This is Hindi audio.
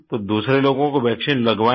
तो दूसरे लोगों को वैक्सीन लगवायें